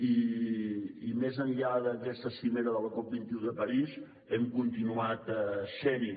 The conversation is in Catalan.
i més enllà d’aquesta cimera de la cop21 de parís hem continuat sent hi